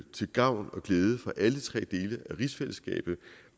til gavn og glæde for alle tre dele af rigsfællesskabet